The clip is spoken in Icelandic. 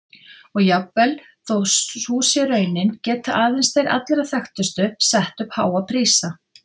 Og jafnvel þó sú sé raunin geta aðeins þeir allra þekktustu sett upp háa prísa.